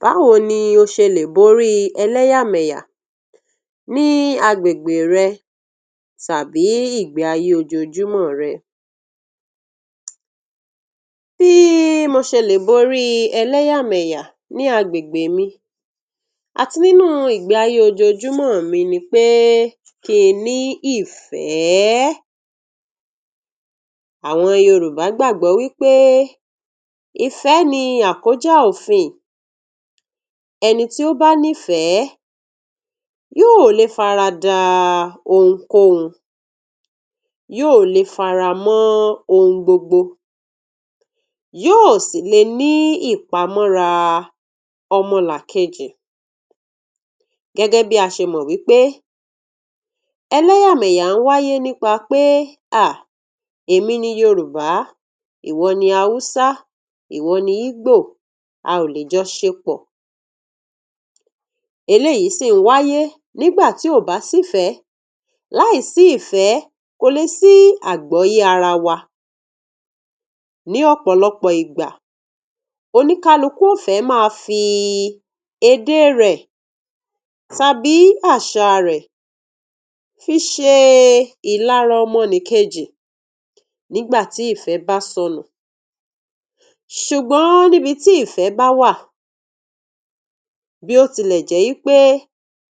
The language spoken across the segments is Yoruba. Báwo ni o ṣe lè borí ẹlẹ́yà mẹyà ní àgbègbè rẹ tàbí ìgbéayé ojojúmọ́ rẹ? Bí ì mo ṣe lè borí ẹlẹ́yà mẹyà ní àgbègbè mí àti nínú ìgbéayé ojojúmọ́ mí nípẹ̀ kí n ní ìfẹ́, àwọn Yorùbá gbàgbọ́ wípé ìfẹ́ ni àkójá òfin. Ẹni tí ó bá nífẹ́ yóò lè fara dà ohunkóhun, yóò lè fáramọ́ ohun gbogbo, yóò sì lè ní ìpamọ̀ra ọmọlàkejì. Gẹ́gẹ́ bí a ṣe mọ̀ wípé, ẹlẹ́yà mẹyà wáyé nípasẹ̀ à! Èmi ni Yorùbá. Ìwọ ni Hausa? Ìwọ ni Igbo? A ò lè jọ ṣe pọ̀. Eléyìí sì wáyé nígbàtí ò bá sí ìfẹ́, kò lè sí àgbọ́ye ara wa. Ní ọ̀pọ̀lọpọ̀ ìgbà, oníkálukú òfẹ̀ máa fi èdè rẹ tàbí àṣà rẹ fi ṣe ìlará ọmọnìkejì nígbàtí ìfẹ́ bá sọnù. Ṣùgbọ́n níbití ìfẹ́ bá wà, bí o tilẹ̀ jẹ́ wípé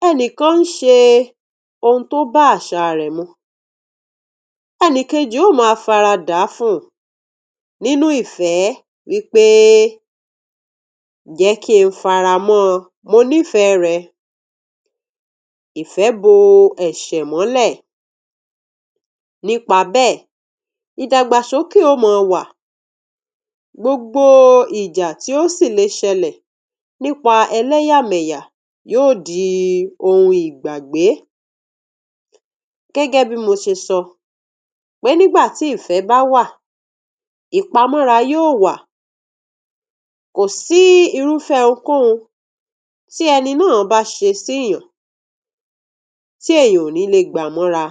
ẹnìkan ń ṣe ohun tó bá àṣà rẹ mu, ẹni kejì ó máa fara dà fún un nínú ìfẹ́ wípé “jẹ́ kí n fáramọ́. Mo nífẹ́ rẹ.” Ìfẹ́ bò ẹ̀ṣẹ̀ mọ́lẹ̀. Ní ipa bẹ́ẹ̀ ni ìdàgbàsókè ò mọ wà. Gbogbo ìjà tí ó sì lè ṣẹlẹ̀ nípa ẹlẹ́yà mẹyà yóò di ohun ìgbàgbé. Gẹ́gẹ́ bí mo ṣe sọ wí, nígbàtí ìfẹ́ bá wà, ìpamọ̀ra yóò wà. Kò sí irúfẹ́ ohunkóhun tí ẹni náà bá ṣe síyàn tí èèyàn ó nílé gbàmọ̀ra.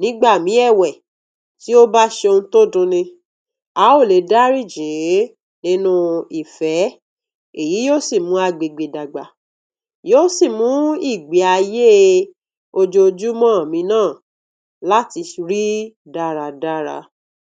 Nígbàmí ẹ̀wẹ̀, tí ó bá ṣe ohun tó dùn ní, a ó lè dáríjì nínú ìfẹ́. Èyí yóò sì mú àgbègbè dàgbà. Yóò sì mú ìgbéayé ojojúmọ́ mi náà láti rí dáadáa.